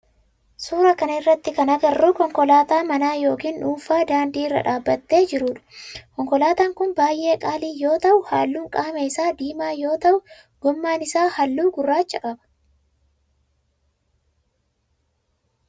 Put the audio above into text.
Suuraa kana irratti kana agarru konkolaataa manaa yookin dhuunfaa daandii irra dhaabbatee jirudha. Konkolaatan kun baayyee qaalii yoo ta'u halluun qaama isaa diimaa yoo ta'u gommaan isaa halluu gurraacha qaba.